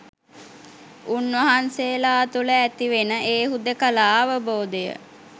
උන්වහන්සේලා තුළ ඇතිවෙන ඒ හුදෙකලා අවබෝධය